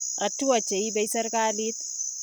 Hatua che ibei serikalit.